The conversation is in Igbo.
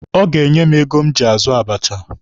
Ọ ga-enye m ego m ji azụ abacha.